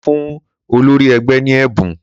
Mo fún olórí ẹgbẹ́ ní ẹ̀bùn